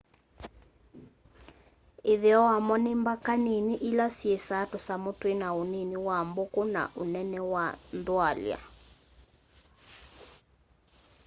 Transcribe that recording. ĩtheo wamo nĩ mbaka nĩnĩ ĩla syĩĩsa tũsamũ twĩna ũnĩnĩ wa mbũkũ na ũnene wa nthwalya